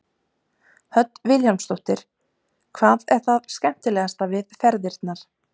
Hödd Vilhjálmsdóttir: Hvað er það skemmtilegasta við ferðirnar?